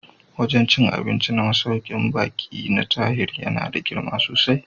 Wajen cin abinci na masaukin baƙi na Tahir yana da girma sosai